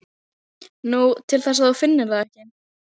Nú, til þess að þú finnir það ekki.